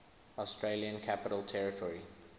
australian capital territory